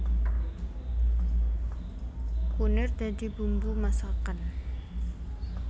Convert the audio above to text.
Kunir dadi bumbu masakan